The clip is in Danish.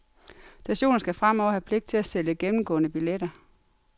Stationer skal fremover skal have pligt til at sælge gennemgående billetter.